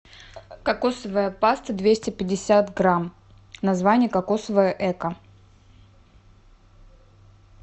кокосовая паста двести пятьдесят грамм название кокосовое эко